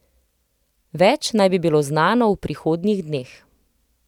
Več naj bi bilo znano v prihodnjih dneh.